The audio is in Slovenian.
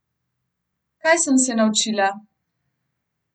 Kaj sem se naučila?